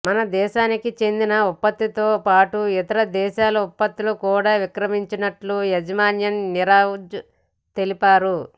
మనదేశానికి చెందిన ఉత్పత్తులతో పాటు ఇతర దేశాల ఉత్పత్తులు కూడా విక్రయిస్తున్నట్టు యజమాని నీరజ్ తెలిపారు